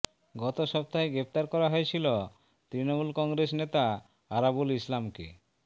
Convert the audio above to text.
গত সপ্তাহে গ্রেফতার করা হয়েছিল তৃণমূল কংগ্রেস নেতা আরাবুল ইসলামকে